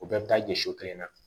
O bɛɛ bɛ taa ɲɛ so kelen na